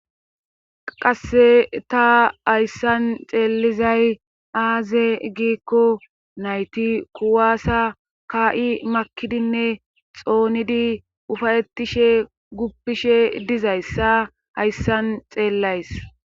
qasse ta hayssan xeelizay aaze giikko nayti kuwaasa ka7i makidinne xoonidi ufayetishe guppishe dizayssa hayssan xeellays